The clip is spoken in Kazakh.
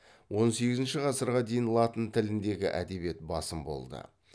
он сегізінші ғасырға дейін латын тіліндегі әдебиет басым болды